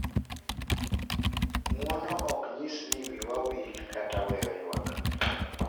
Ng’uono ok nyis ni wiwa wil kata weyo ywak,